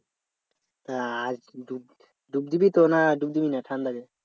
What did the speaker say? তা আজ ডুব দিবি তো নাকি ডুব দিবি না ঠান্ডাতে?